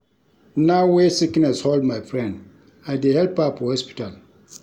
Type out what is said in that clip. Now wey sickness hold my friend, I dey help her for hospital.